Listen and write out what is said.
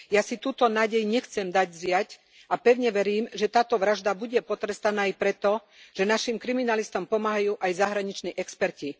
Ja si túto nádej nechcem dať vziať a pevne verím, že táto vražda bude potrestaná aj preto, že našim kriminalistom pomáhajú aj zahraniční experti.